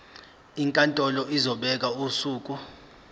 inkantolo izobeka usuku